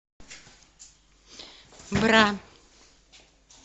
бра